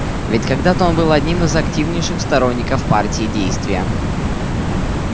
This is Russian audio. ведь когда-то он был одним из активнейших сторонников партии действия